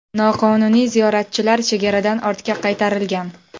Noqonuniy ziyoratchilar chegaradan ortga qaytarilgan.